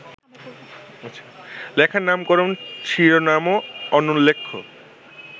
লেখার নামকরণ-শিরোনামও অনুল্লেখ্য